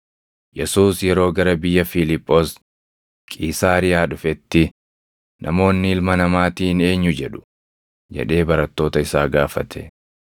Yesuus yeroo gara biyya Fiiliphoos Qiisaariyaa dhufetti, “Namoonni Ilma Namaatiin eenyu jedhu?” jedhee barattoota isaa gaafate.